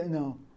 Não.